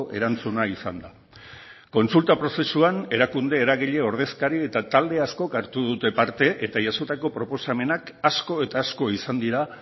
erantzuna izan da kontsulta prozesuan erakunde eragile ordezkari eta talde askok hartu dute parte eta jasotako proposamenak asko eta asko izan dira